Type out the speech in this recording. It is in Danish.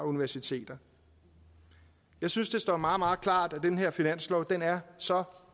universiteter jeg synes det står meget meget klart at den her finanslov er så